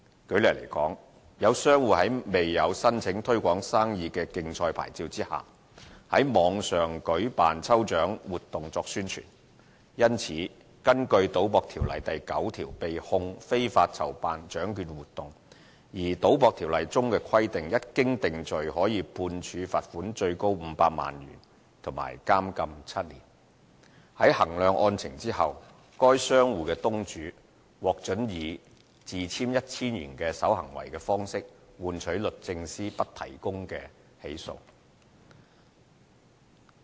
舉例來說，有商戶在沒有申請"推廣生意的競賽牌照"下，在網上舉辦抽獎活動作宣傳，因此根據《賭博條例》第9條被控非法籌辦獎券活動；而《賭博條例》中規定，一經定罪可判處罰款最高500萬元及監禁7年。在衡量案情後，該商戶東主獲准以自簽 1,000 元守行為方式處理換取律政司不提證供起訴。